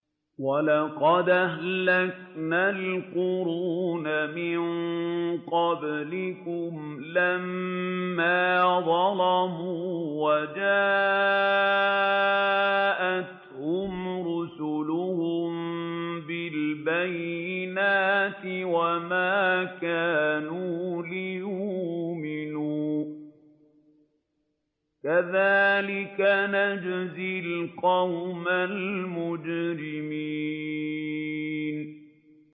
وَلَقَدْ أَهْلَكْنَا الْقُرُونَ مِن قَبْلِكُمْ لَمَّا ظَلَمُوا ۙ وَجَاءَتْهُمْ رُسُلُهُم بِالْبَيِّنَاتِ وَمَا كَانُوا لِيُؤْمِنُوا ۚ كَذَٰلِكَ نَجْزِي الْقَوْمَ الْمُجْرِمِينَ